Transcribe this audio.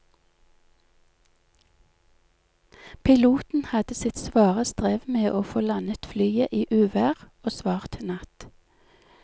Piloten hadde sitt svare strev med å få landet flyet i uvær og svart natt.